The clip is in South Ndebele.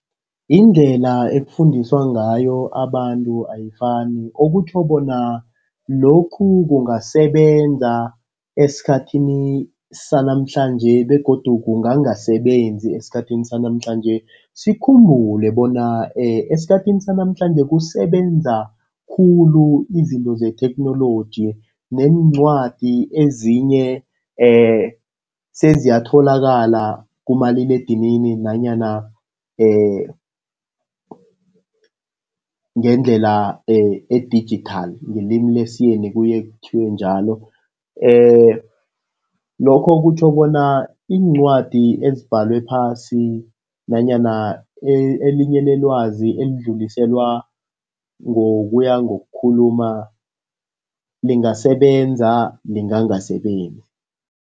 Indlela ekufundiswa ngayo abantu ayifani, okutjho bona lokhu kungasebenza esikhathini sanamhlanje begodu kungangasasebenzi esikhathini sanamhlanje. Sikhumbule bona esikhathini sanamhlanje kusebenza khulu izinto zetheknoloji, neencwadi ezinye seziyatholakala kumaliledinini nanyana ngendlela edijithali ngelimi lesiyeni kuye kuthiwe njalo. Lokho kutjho bona iincwadi ezibhalwe phasi nanyana elinye lelwazi elidluliselwa ngokuya ngokukhuluma lingasebenzisa, lingangasebenzi.